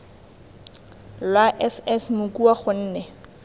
lwa s s mokua gonne